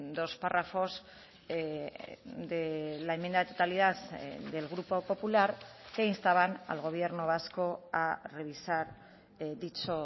dos párrafos de la enmienda de totalidad del grupo popular que instaban al gobierno vasco a revisar dicho